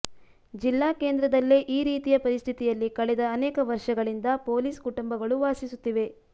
ಜಿಲ್ಲಾ ಕೇಂದ್ರದಲ್ಲೇ ಈ ರೀತಿಯ ಪರಿಸ್ಥಿತಿಯಲ್ಲಿ ಕಳೆದ ಅನೇಕ ವರ್ಷಗಳಿಂದ ಪೊಲೀಸ್ ಕುಟುಂಬಗಳು ವಾಸಿಸುತ್ತಿವೆ